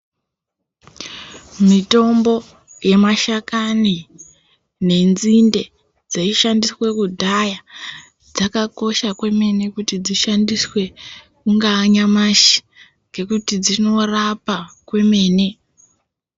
Mitombo yemashakani nenzinde dzaishandiswa kudhaya dzakakosha kwemene kuti dzishandiswe kungaa nyamashi ngekuti dzinorapa kwemene.